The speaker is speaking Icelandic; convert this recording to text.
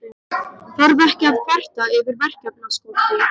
Þarf ekki að kvarta yfir verkefnaskorti.